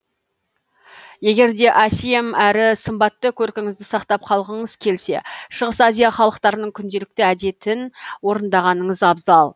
егерде әсем әрі сымбатты көркіңізді сақтап қалғыңыз келсе шығыс азия халықтарының күнделікті әдетін орындағаныңыз абзал